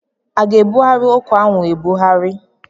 A ga-ebughari okwu ahụ ebughari?